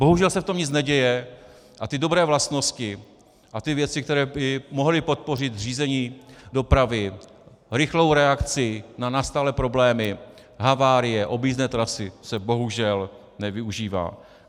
Bohužel se v tom nic neděje a ty dobré vlastnosti a ty věci, které by mohly podpořit řízení dopravy, rychlou reakci na nastalé problémy, havárie, objízdné trasy, se bohužel nevyužívají.